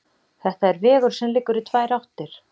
Þetta er vegur sem liggur í tvær áttir.